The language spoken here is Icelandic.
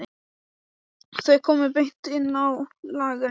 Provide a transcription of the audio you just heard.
Þau komu beint inn á lagerinn.